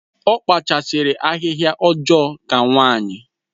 Ọ kpachasiri ahịhịa ọjọọ ka nwanyi